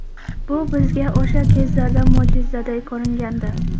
Bu bizga o‘sha kezlarda mo‘jizaday ko‘ringandi.